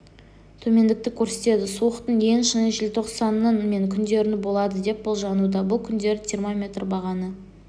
төмендікті көрсетеді суықтың ең шыңы желтоқсанның мен күндерінде болады деп болжануда бұл күндері термометр бағаны